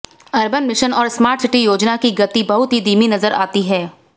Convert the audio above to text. urban mission और smart city योजना की गति बहुत ही धीमी नजर आती है